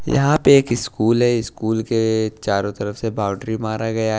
यहां पे एक स्कूल है स्कूल के चारों तरफ से बाउंड्री मार गया--